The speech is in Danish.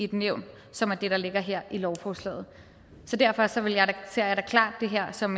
i et nævn som er det der ligger her i lovforslaget derfor ser jeg da klart det her som